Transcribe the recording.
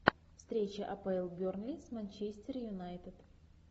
встреча апл бернли с манчестер юнайтед